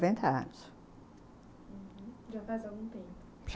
Uhum, já faz algum tempo? já.